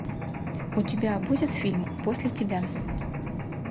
у тебя будет фильм после тебя